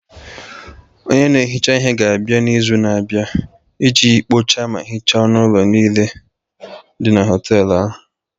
Onye na-ehicha ihe ga-abịa n'izu na-abịa iji kpochaa ma hichaa ọnụ ụlọ niile dị na họtel ahụ.